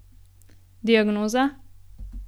Diagnoza?